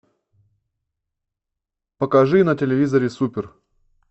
покажи на телевизоре супер